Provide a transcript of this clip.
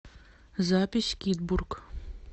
запись кидбург